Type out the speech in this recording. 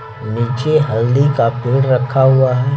नीचे हल्दी का पेड़ रखा हुआ है।